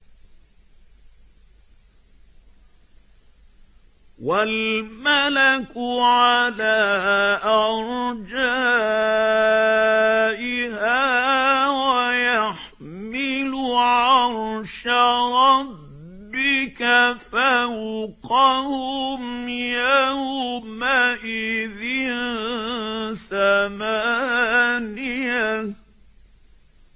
وَالْمَلَكُ عَلَىٰ أَرْجَائِهَا ۚ وَيَحْمِلُ عَرْشَ رَبِّكَ فَوْقَهُمْ يَوْمَئِذٍ ثَمَانِيَةٌ